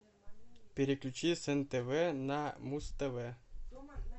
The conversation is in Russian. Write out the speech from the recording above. переключи с нтв на муз тв